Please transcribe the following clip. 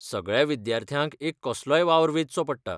सगळ्या विद्यार्थ्यांक एक कसलोय वावर वेंचचो पडटा.